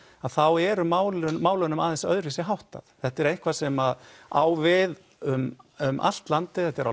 þá er málunum málunum aðeins öðruvísi háttað þetta er eitthvað sem á við um um allt landið þetta er á